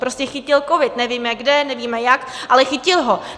Prostě chytil covid, nevíme kde, nevíme jak, ale chytil ho.